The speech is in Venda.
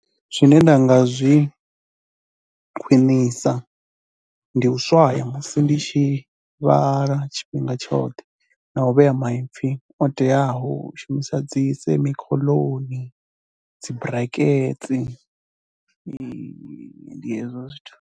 Zwine nda nga zwi khwinisa, ndi u swaya musi ndi tshi vhala tshifhinga tshoṱhe na u vhea maipfhi o teaho u shumisa dzi semikoloni dzi buraketsi ndi hezwo zwithu.